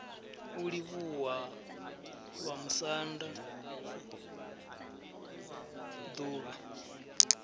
u livhuwa vhamusanda d uvha